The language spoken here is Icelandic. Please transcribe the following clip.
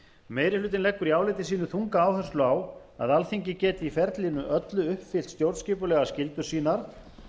meiri hlutinn leggur í áliti sínu þunga áherslu á að alþingi geti í ferlinu öllu uppfyllt stjórnskipulegar skyldur sínar